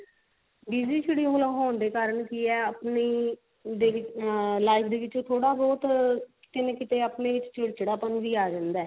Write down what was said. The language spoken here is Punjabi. BZY schedule ਹੋਣ ਦੇ ਕਾਰਣ ਕੀ ਹੈ ਆਪਣਾ daily life ਦੇ ਵਿੱਚ ਥੋੜਾ ਬਹੁਤ ਕਿਤੇ ਨਾ ਕਿਤੇ ਆਪਣੇ ਚ ਚਿੜਚਿੜਾ ਪਨ ਵੀ ਆ ਜਾਂਦਾ